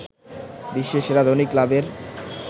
বিশ্বের সেরা ধনী ক্লাবের